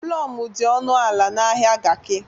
Plọm dị ọnụ ala n'ahịa Garki.